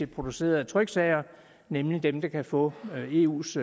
producerede tryksager nemlig dem der kan få eus